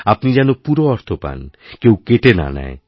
আপনি যেন পুরো অর্থ পান কেউ কেটে না নেয়